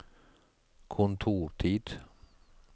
kontortid